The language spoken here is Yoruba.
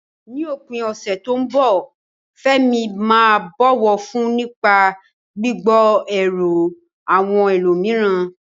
Ní òpin ọ̀sẹ̀ tó ń bọ̀, Fẹ́mi máa bọ̀wọ̀ fún nípa gbígbọ́ èrò àwọn ẹlòmíràn.